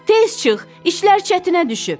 Tez çıx, işlər çətinə düşüb.